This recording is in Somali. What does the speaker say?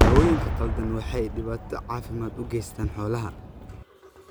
Daawooyinka khaldan waxay dhibaato caafimaad u geystaan ??xoolaha.